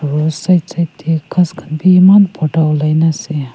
aru side side tae ghas khan bi eman borta olaina ase.